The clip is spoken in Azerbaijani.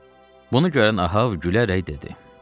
Bunu görən Ahab gülərək dedi: